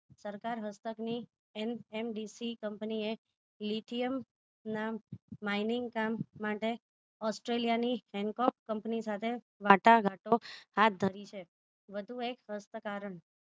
સરકાર હસ્તકની MDC કંપનીએ lithiym ના mineing કામ માટે ઓસ્ટ્રેલીયાની hankook કંપની સાથે વાટાઘાટો હાથધરી છે વધુ એક હસ્ત કારણ